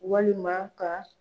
Walima ka